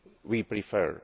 we prefer.